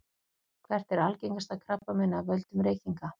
hvert er algengasta krabbameinið af völdum reykinga